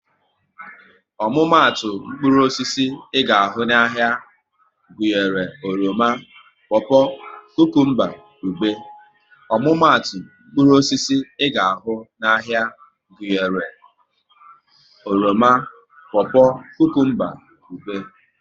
Omumatu mkpụrụ osisi ị ga ahụ n'ahia gụnyere oroma, popo, kukumba, ube